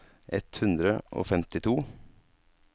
ett hundre og femtito